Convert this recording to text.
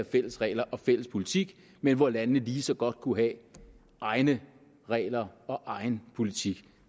fælles regler og fælles politik men hvor landene lige så godt kunne have egne regler og egen politik